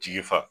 Tigi fa